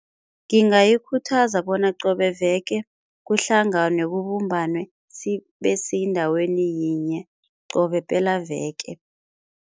Ngingayikhuthaza bona qobe veke kuhlanganwe kubumbanwe sibesendaweni yinye qobe pelaveke.